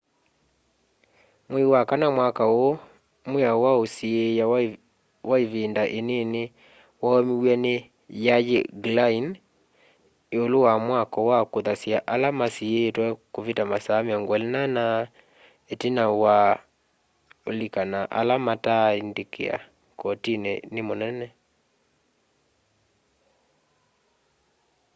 mwei wa kana mwaka uu mwiao wa usiia wa ivinda inini waumiw'e ni y'ay'i glynn iulu wa mwako wa kuthasya ala masiitwe kuvita masaa 24 itina wa ulika na ala mataaika kotini ni munene